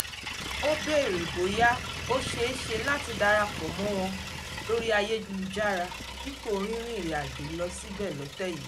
ó béèrè bóyá ó ṣeé ṣe láti darapọ̀ mọ́ wọn lórí ayélujára dípò rínrin ìrìàjò lọ sí ibẹ̀ lọ́tẹ̀ yìí